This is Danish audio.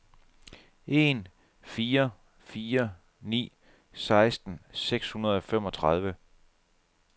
en fire fire ni seksten seks hundrede og femogtredive